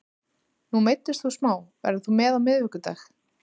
Nú meiddist þú smá, verður þú með á miðvikudag?